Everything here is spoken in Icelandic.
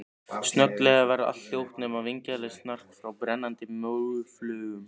Snögglega varð allt hljótt, nema vingjarnlegt snark frá brennandi móflögum.